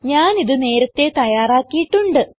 ഞാൻ ഇത് നേരത്തേ തയ്യാറാക്കിയിട്ടുണ്ട്